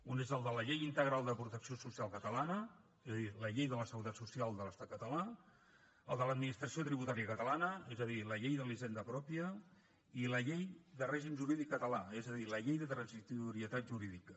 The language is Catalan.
un és de la llei integral de protecció social catalana és a dir la llei de la seguretat social de l’estat català el de l’administració tributària catalana és a dir la llei de la hisenda pròpia i la llei de règim jurídic català és a dir la llei de transitorietat jurídica